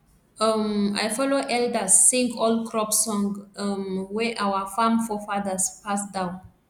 um i follow elders sing old crop song um wey our farm forefathers pass down